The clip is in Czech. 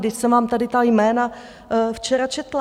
Vždyť jsem vám tady ta jména včera četla.